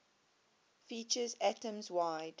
features atoms wide